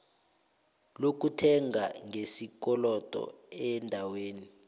lokuthenga ngesikolodo eendaweni